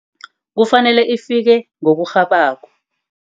Kufanele ifike ngokurhabako.